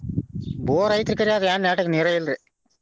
ಬೋರ ಐತ್ರಿ ಖರೆ ಅದ ಏನ್ ನೆಟ್ಟಗ್ ನೀರೆ ಇಲ್ರಿ.